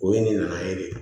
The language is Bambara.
O ye ne nana ye de